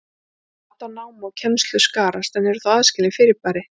Mat á námi og kennslu skarast en eru þó aðskilin fyrirbæri.